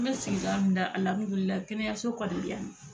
N be sigida min na alihamidulilahi kɛnɛyaso kɔni bi yani nɔ